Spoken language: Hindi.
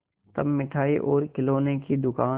तब मिठाई और खिलौने की दुकान